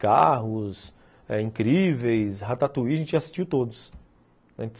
Carros, Incríveis, Ratatouille, a gente já assistiu todos.